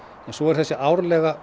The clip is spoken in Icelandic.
svo er þessi árlega